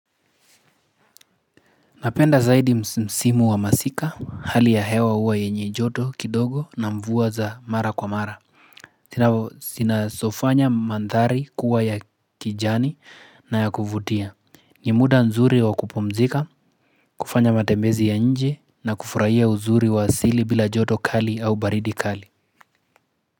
Napenda zaidi msimu wa masika hali ya hewa uwa yenye joto kidogo na mvua za mara kwa mara zinasofanya mandhari kuwa ya kijani na ya kuvutia ni muda nzuri wa kupumzika, kufanya matembezi ya nje na kufurahia uzuri wa asiri bila joto kali au baridi kali.